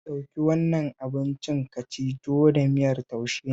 Ɗauki wannan abincin ka ci, tuwo da miyar taushe ne